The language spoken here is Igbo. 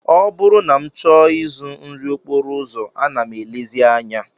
Ọ bụrụ na m chọọ ịzụ nri okporo ụzọ, ana m elezi anya